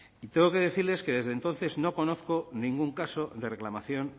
y tengo que decirles que desde entonces no conozco ningún caso de reclamación